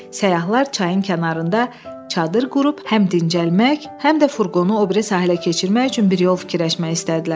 Səyyahlar çayın kənarında çadır qurub həm dincəlmək, həm də furqonu o biri sahilə keçirmək üçün bir yol fikirləşmək istədilər.